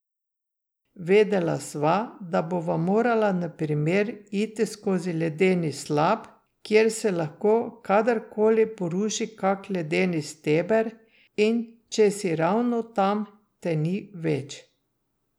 Vedela sva, da bova morala, na primer, iti skozi ledeni slap, kjer se lahko kadarkoli poruši kak ledeni steber, in če si ravno tam, te ni več.